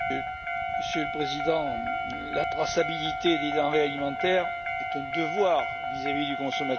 Monsieur le Président, la traçabilité des denrées alimentaires est un devoir vis à vis du consommateur.